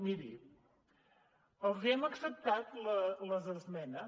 miri els hem acceptat les esmenes